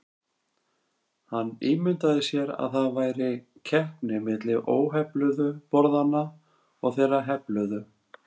Hann ímyndaði sér að það væri keppni milli óhefluðu borðanna og þeirra hefluðu.